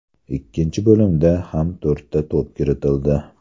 Ikkinchi bo‘limda ham to‘rtta to‘p kiritildi.